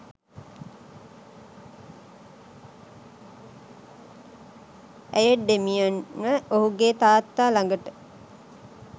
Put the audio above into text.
ඇය ඩේමියන්ව ඔහුගේ තාත්තා ළගට